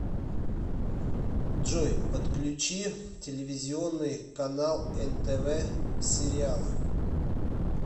джой подключи телевизионный канал нтв сериал